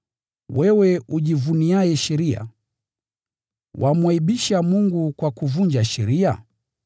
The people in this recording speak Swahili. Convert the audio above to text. Wewe ujivuniaye sheria, wamwaibisha Mungu kwa kuvunja sheria?